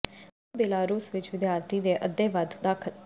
ਉਹ ਹੋਰ ਬੇਲਾਰੂਸ ਵਿੱਚ ਵਿਦਿਆਰਥੀ ਦੇ ਅੱਧੇ ਵੱਧ ਦਾਖਲ